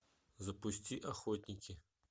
запусти охотники